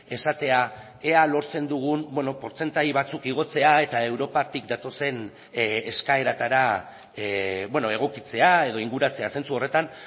esatea ea lortzen dugun portzentai batzuk igotzea eta europatik datozen eskaeretara egokitzea edo inguratzea zentzu horretan